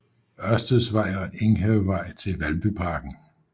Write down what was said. Ørsteds Vej og Enghavevej til Valbyparken